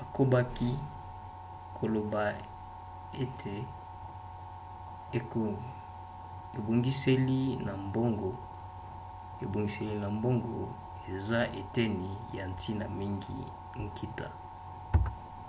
akobaki koloba ete ebongiseli ya mbongo eza eteni ya ntina mingi ya nkita